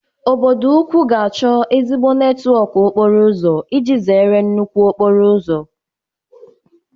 Obodo ukwu ga-achọ ezigbo netwọk okporo ụzọ iji zere nnukwu okporo ụzọ